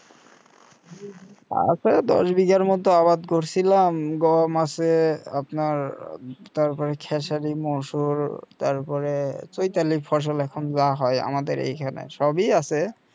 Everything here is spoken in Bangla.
আছে দশ বিঘার মত আবাদ করছিলাম গম আছে আপনার তারপরে খেসারি মসুর তারপরে চৈতালির ফসল এখন যা হয় আমাদের এইখানে সবই আছে